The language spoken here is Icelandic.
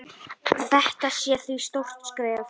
Þetta sé því stórt skref.